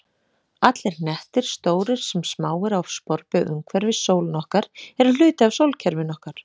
Allir hnettir, stórir sem smáir, á sporbaug umhverfis sólina okkar eru hluti af sólkerfinu okkar.